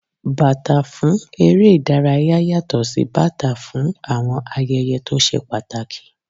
Bàtà fún eré ìdárayá yàtò sí bàtà fún àwọn ayẹyẹ tó ṣe pàtàkì.